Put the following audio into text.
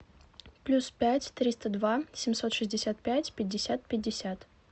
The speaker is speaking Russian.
плюс пять триста два семьсот шестьдесят пять пятьдесят пятьдесят